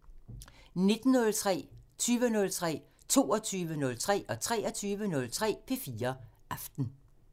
19:03: P4 Aften 20:03: P4 Aften 22:03: P4 Aften 23:03: P4 Aften